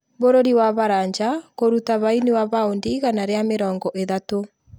Bũrũri wa Faraja kũruta baini wa paundi igana rĩa mĩrongo ithatũ